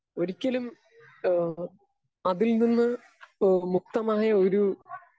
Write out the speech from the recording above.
speaker 2 ഒരിക്കലും ഏഹ് അതിൽ നിന്ന് ഏഹ് മുക്തമായ ഒരു